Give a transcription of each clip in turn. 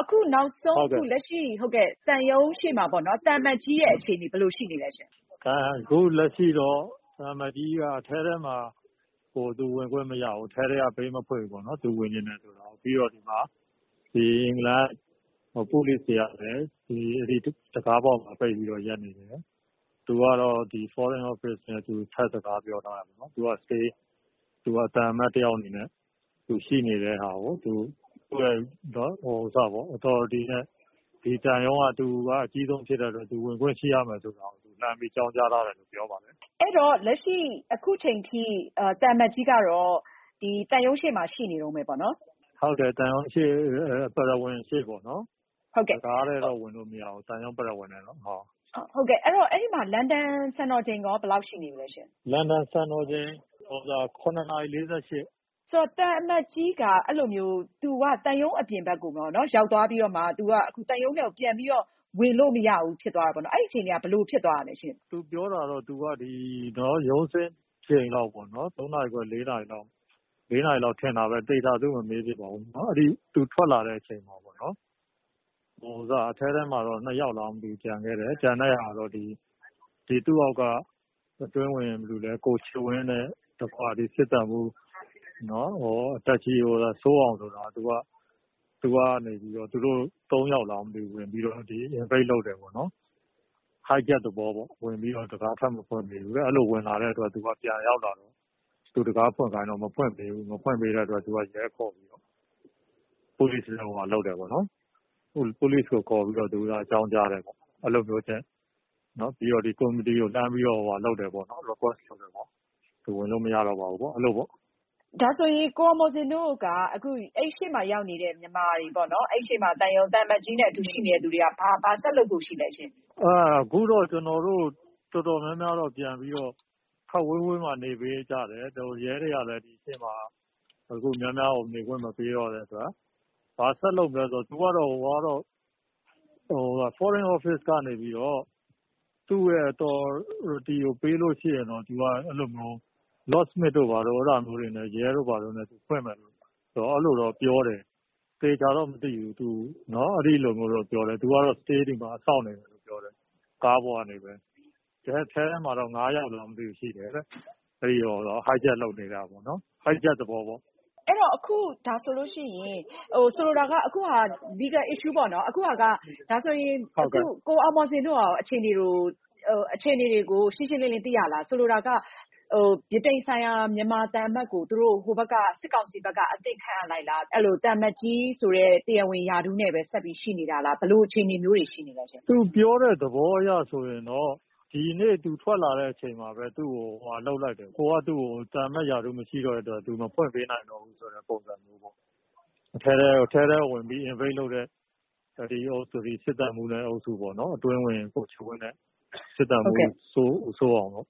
အခုနောက်ဆုံး လက်ရှိသံရုံးရှေ့မှာ သံအမတ်ကြီးရဲ့ အခြေအနေ ဘယ်လို ရှိနေသလဲရှင့်။ အခုလက်ရှိတော့ သံအမတ်ကြီးက အထဲထဲမှာ ဝင်ခွင့်မရဘူး သူ့ကို ပေးမဖွင့်ဘူးပေါ့နော်၊ သူဝင်ချင်တယ်ဆိုတာကို။ ပြီးတော့ အင်္ဂလန်က police တွေကလည်း တံခါးပေါက်မှာ ပိတ်ပြီးတော့ ရပ်နေတယ်။ သူကတော့ Foreign office နဲ့ ထပ်စကားပြောထားတယ် ပေါ့နော်။ သူက သံအမတ်တယောက်အနေနဲ့ သူရှိနေတဲ့ဟာကို သူ့ Authority နဲ့ ဒီသံရုံးက သူအကြီးဆုံး ဖြစ်တဲ့အတွက် သူဝင်ခွင့်ရှိရမယ်ဆိုတာကို လှမ်းအကြောင်းကြားထားတယ်လို့ ပြောပါတယ်။ အဲဒီတော့ လက်ရှိ အခုအချိန်အထိ သံအမတ်ကြီးကတော့ သံရုံးရှေ့မှာ ရှိနေတုန်းပဲပေါ့နော်။ ဟုတ်တယ် သံရုံးရှေ့ ပရဝဏ် ရှေ့ပေါ့နော် တံခါးထဲတော့ ဝင်လို့မရဘူး။ ဟုတ်ကဲ့ အဲဒီမှာ လန်ဒန်စံတော်ချိန်ရော ဘယ်လောက်ရှိနေပြီလဲရှင့်။ လန်ဒန်စံတော်ချိန် ည ၇ နာရီ ၄၈ မိနစ်ပါ။ သံအမတ်ကြီးက အဲလိုမျိုး သံရုံးအပြင်ဘက်ကိုရောက်သွားပြီးတော့မှ အခု သံရုံးထဲကို ဝင်လို့မရဘူးဆိုတော့ ဘယ်လို ဖြစ်သွားတာလဲရှင့်။ သူပြောတာကတော့ သူ ရုံးဆင်းချိန်လောက်ပေါ့နော် ၃ နာရီခွဲ ၄ နာရီလောက်ထင်တာပဲ သေချာတော့ သူ့ကို မမေးဖြစ်ပါဘူး။ အဲဒီ သူထွက်လာတဲ့အချိန်မှာ အထဲထဲမှာ ၂ ယောက်လားမသိဘူး ကျန်ခဲ့တယ် ကျန်တာကတော့ သူ့အောက်က အတွင်းဝန် ဦးချစ်ဝင်းနဲ့ စစ်သံမှူး စိုးအောင် ဆိုတာ သူကနေပြီးတော့ သူတို့ ၃ ယောက်လားမသိဘူး ဝင်ပြီးတော့ ပိတ်တယ်ပေါ့နော် hijack သဘောမျိုးပေါ့နော် တံခါးထပ်မဖွင့်ပေးဘူး ။ အဲလိုဝင်လာတဲ့အတွက် သံအမတ်ကြီးက ပြန်ရောက်လာတာ ၊ သူတံခါးဖွင့်ခိုင်းတော့ မဖွင့်ပေးဘူး ။ မဖွင့်ပေးတော့ သူက ရဲခေါ်တယ် Police ကိုခေါ်ပြီးတော့ အကြောင်းကြားတယ်ပေါ့နော်။ အဲလိုမျိုးနဲ့ ပြီးတော့ ဒီ လှမ်းပြီးတော့request လုပ်တယ်ပေါ့ သူဝင်လို့မရတော့ပါဘူး အဲလိုပေါ့။ ဒါဆိုရင် ကိုအောင်မော်ဇင်တို့က အဲဒီအရှေ့မှာ ရောက်နေတဲ့ မြန်မာတွေ၊ သံအမတ်ကြီးနဲ့ အတူရှိနေတဲ့သူတွေ ဘာဆက်လုပ်ဖို့ ရှိသလဲရှင့်။ အခုတော့ ကျနော်တို့ တော်တော်များများက ပြန်ပြီးတော့ ခပ်ဝေးဝေးမှာ နေပေးကြတယ်။ ရဲတွေကလည်း ဒီအရှေ့မှာ လူအများကို နေခွင့်မပေးတော့ ဘာဆက်လုပ်မလဲဆိုတာကတော့ သူကတော့ Foreign office ကနေပြီးတော့ သူရဲ့ Authority ကိုပေးရင်တော့ locksmith တို့ဘာတို့ ရဲတို့ဘာတို့နဲ့ ဖွင့်မယ်ဆိုပြီးတော့ အဲလိုတော့ပြောတယ် သေချာတော့ မသိဘူး။ သူကတော့ ဒီမှာ စောင့်နေမယ်လို့ပြောတယ် ကားပေါ်ကပဲ။ အထဲထဲမှာတော့ ၅ ယောက်လားမသိဘူး ရှိတယ်လို့ ပြောတယ်တဲ့။ hijack လုပ်တာပေါ့ hijack သဘောပေါ့နော်။ ဒါဆိုရင် အခုက Legal issue ပေါ့နော် ၊ ကိုအောင်မော်ဇင်တို့ရော အခြေအနေတွေကို ရှင်းရှင်းလင်းလင်း သိရလား။ ဆိုလိုတာက ဗြိတိန်ဆိုင်ရာ မြန်မာသံအမတ်ကို ဟိုဘက်က စစ်ကောင်စီက အသစ်ခန့်အပ်လိုက်ပြီလား ၊ သံအမတ်ကြီး ဆိုတဲ့ တရားဝင် ရာထူးနဲ့ ဆက်ရှိနေတာလား ဘယ်လိုအခြေအနေမျိုး ရှိနေသလဲ။ သူပြောတဲ့ သဘောအရဆိုရင်တော့ ဒီနေ့ သူထွက်လာတဲ့ အချိန်မှာပဲ ဟိုဘက်က သူ့ကို သံအမတ်ရာထူးမရှိတော့တဲ့အတွက် သူ့ကို မဖွင့်ပေးနိုင်ဘူးဆိုတဲ့ ပုံစံမျိုး ၊ အထဲကို invade လုပ်တဲ့ စစ်သံမှူးအုပ်စုပေါ့နော် အတွင်းဝန်နဲ့ စစ်သံမှူး စိုးအောင်ပေါ့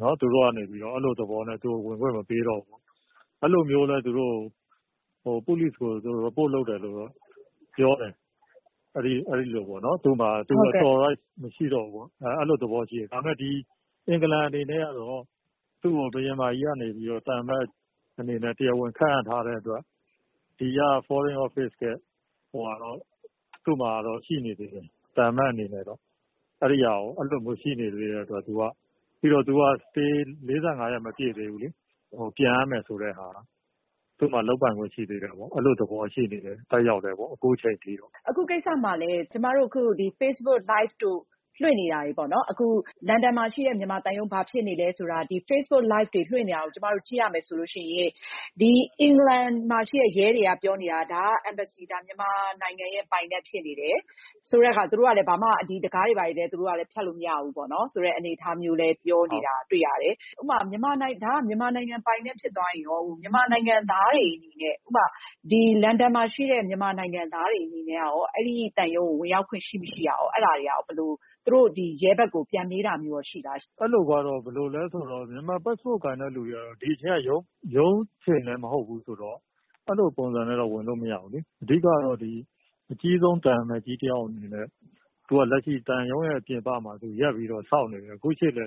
နော် သူတို့ကနေပြီးတော့ အဲလိုသဘောနဲ့ ဝင်ခွင့်မပေးတော့ဘူး အဲလိုမျိုးနဲ့ သူတို့ Police ကို report လုပ်တယ်လို့ ပြောတယ် ။ သူ Authorize မရှိတော့ဘူးပေါ့နော် အဲလိုသဘောလည်းရှိတယ်။ ဒါပေမယ့် အင်္ဂလန်အနေနဲ့ကတော့ သူ့ကို ဘုရင်မကြီးကနေပြီးတော့ သံအမတ်အနေနဲ့ တရားဝင် ခန့်အပ်ထားတဲ့အတွက် Foreign office ကတော့ သူ့မှာတော့ ရှိနေသေးတယ် သံအမတ်အနေနဲ့တော့။ အဲလိုရှိနေသေးတယ် ပြီးတော့ သူက Stay ၄၅ ရက် မပြည့်သေးဘူးလေ၊ ပြန်ရမယ်ဆိုတာက သူ့မှာ လုပ်ပိုင်ခွင့်ရှိသေးတယ်ပေါ့။ အဲလိုသဘောလည်းရှိတယ် သက်ရောက်တယ် အခုအချိန်အထိပေါ့။ အခုကိစ္စမှာ Facebook Live တို့ လွှင့်နေတာပေါ့နော် ၊ လန်ဒန်မှာရှိတဲ့ မြန်မာသံရုံး ဘာဖြစ်နေသလဲဆိုတာ Facebook Live တို့ လွှင့်နေတာတွေ ကျမတို့ ကြည့်ရမယ်ဆိုရင် အင်္ဂလန်မှာ ရှိတဲ့ ရဲတွေပြောနေတာက ဒါက Myanmar Embassy မြန်မာနိုင်ငံရဲ့ ပိုင်နက်ဖြစ်နေတယ်ဆိုတာ တံခါးတွေလည်း ဖျက်လို့ မရဘူးပေါ့နော် ဆိုတဲ့အနေအထားမျိုးလည်း ပြောနေတာ တွေ့ရတယ်။ မြန်မာနိုင်ငံရဲ့ ပိုင်နက်ဖြစ်သွားရင်ရော လန်ဒန်မှာရှိတဲ့ မြန်မာနိုင်ငံသားတွေအနေနဲ့ အဲဒီသံရုံးကို ဝင်ရောက်ခွင့်ရှိမရှိ အဲဒါတွေကရော သူတို့ ရဲဘက်ကို ပြန်မေးတာ ရှိလားရှင့်။ ဘယ်လိုလဲဆိုတော့ မြန်မာ Passport ကိုင်တဲ့လူတွေက ဒီအချိန်က ရုံးအချိန်လည်းမဟုတ်ဘူးဆိုတော့အဲလိုပုံစံနဲ့ ဝင်လို့မရဘူးလေ။ အဓိကတော့ အကြီးဆုံး သံအမတ်ကြီး တယောက်အနေနဲ့ သူက လက်ရှိ သံရုံးရဲ့ ပြင်ပမှာ ရပ်ပြီးတော့ စောင့်နေတယ် အခုအချိန်အထိ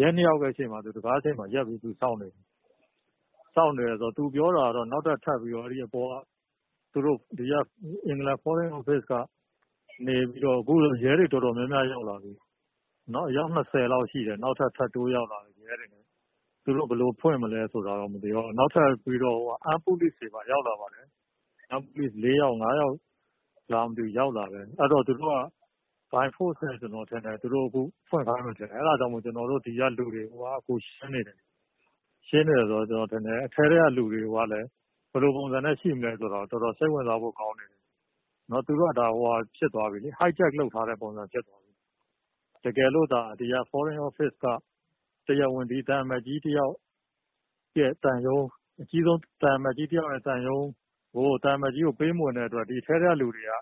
ရဲ ၂ ယောက်ရဲ့ ရှေ့မှာ စကားပြောပြီး ရပ်စောင့်နေတယ်။ စောင့်နေတယ်ဆိုတာတော့ သူပြောတာကတော့ အပေါ်က အင်္ဂလန် Foreign office ကနေတော့ ။အခုဆိုရင်ရဲတွေ တော်တော်များများရောက်လာပြီ အယောက် ၂၀ လောက်ရှိတယ် နောက်ထပ် ထပ်တိုးရောက်လာတာ။ နောက်ထပ် armed police တွေပါ ရောက်လာတယ် နောက်ထပ် ၄-၅ ယောက် လားမသိဘူး ရောက်လာတာ။ အဲဒါ သူတို့က by forced နဲ့ ကျနော်ထင်တယ် ဖွင့်ခိုင်းမယ်လို့ အဲဒါကြောင့်မို့လို့ ဒီကလူတွေကို ရှင်းနေတယ် ၊ ရှင်းနေတယ် ဆိုတာ ကျနော်ထင်တယ် အထဲထဲကလူတွေကလည်း ဘယ်လိုပုံစံနဲ့ ရှိမလဲဆိုတာ တော်တော်စိတ်ဝင်စားဖို့ကောင်းတယ်။ သူတို့ကဒါက hijack လုပ်တဲ့ပုံစံ ဖြစ်သွားပြီလေ။ တကယ်လို့သာ ဒီ Foreign office က တရားဝင် အကြီးဆုံး သံအမတ်ကြီးတယောက် သံရုံးကို သံအမတ်ကြီးကို ပေးမဝင်တဲ့အတွက် အထဲထဲကလူတွေက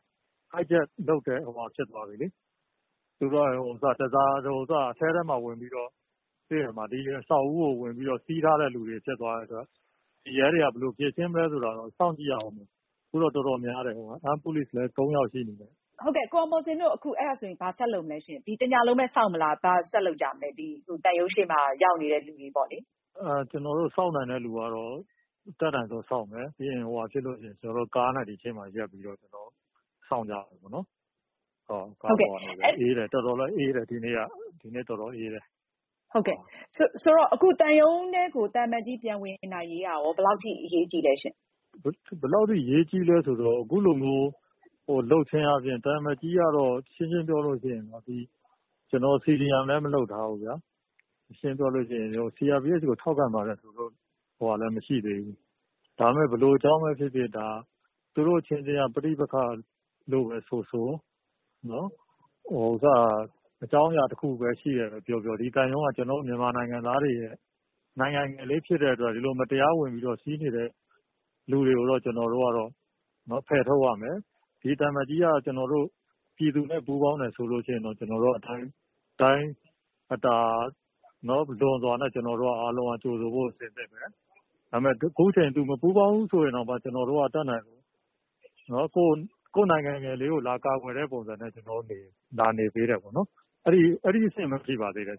hijack လုပ်တဲ့ပုံစံ ဖြစ်သွားပြီလေ။ သူတို့က ဒီအဆောက်အဦးကို ဝင်ပြီးတော့ စီးထားတဲ့ ပုံစံ ဖြစ်သွားတဲ့အတွက် ရဲတွေက ဘယ်လိုဖြေရှင်းမလဲဆိုတာတော့ စောင့်ကြည့်ရမယ်။ အခုတော့ တော်တော်များတယ် armed police လည်း ၃ ယောက်ရှိနေတယ်။ ကိုအောင်မော်ဇင်တို့ ဘာဆက်လုပ်မလဲရှင့် တညလုံးပဲ စောင့်မလား ရုံးရှေ့မှာ ရောက်နေတဲ့သူတွေလေ။ ကျနော်တို့ စောင့်နိုင်တဲ့ လူကတော့ အတတ်နိုင်ဆုံးစောင့်မယ် ၊ ကားနဲ့ အရှေ့မှာ ရပ်ပြီးတော့ စောင့်ကြမယ်ပေါ့နော်။ ဒီနေ့က တော်တော်လည်းအေးတယ်။ ဆိုတော့ သံရုံးထဲကို သံအမတ်ကြီး ပြန်ဝင်နိုင်ရေးက ဘယ်လောက်အထိ အရေးကြီးလဲရှင့်။ ဘယ်လောက်အထိ အရေးကြီးလဲဆိုတော့ အခုလိုမျိုး လုပ်ချင်းအားဖြင့် သံအမတ်ကြီးကတော့ ရှင်းရှင်းပြောရင် CDM လည်း မလုပ်ထားဘူးခင်ဗျာ၊ ရှင်းရှင်းပြောရင် CRPH ကိုထောက်ခံပါတယ်ဆိုတာလည်း မရှိသေးဘူး။ ဒါပေမယ့် ဘယ်လိုအကြောင်းပဲဖြစ်ဖြစ် သူတို့အချင်းချင်း ပဋိပက္ခလို့ ဆိုဆို ၊ အကြောင်းအရာ တခု ရှိတယ်ပြောပြော ဒီသံရုံးက ကျနော်တို့ မြန်မာနိုင်ငံသားတွေရဲ့ နိုင်ငံငယ်လေးဖြစ်တဲ့အတွက် ကျနော်တို့ ဒီလို မတရားဝင်စီးနေတဲ့ လူတွေကိုတော့ ကျနော်တို့ကတော့ ဖယ်ထုတ်ရမယ် ။ ဒီသံအမတ်ကြီးက ပြည်သူနဲ့ ပူးပေါင်းတယ်ဆိုရင် အတိုင်းအတာလွန်စွာနဲ့ ကျနော်တို့ ကြိုဆိုဖို့ အဆင်သင့်ပဲ ၊ ဒါပေမယ့် အခုအချိန် သူ မပူးပေါင်းဘူးဆိုရင်တောင်မှ ကျနော်တို့ကတော့ ကျနော်တို့နိုင်ငံငယ်လေးကို လာကာကွယ်တဲ့ပုံစံနဲ့ လာနေပေးတယ်ပေါ့နော် အဲဒီအဆင့်ပဲ ရှိပါသေးတယ်